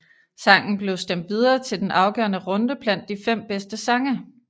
Sangen blev stemt videre til den afgørende runde blandt de fem bedste sange